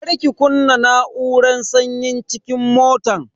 Kar ki kunna na'uran sanyin cikin motan.